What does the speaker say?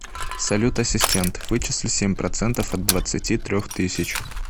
салют ассистент вычисли семь процентов от двадцати трех тысяч